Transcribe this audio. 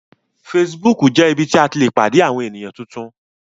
Facebook jé ibí tí a tí lẹ pàdé Àwọ̀n ènìyàn títún